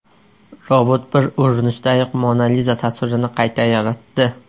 Robot bir urinishdayoq Mona Liza tasvirini qayta yaratdi .